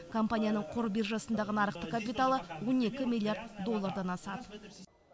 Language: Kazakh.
компанияның қор биржасындағы нарықтық капиталы он екі миллиард доллардан асады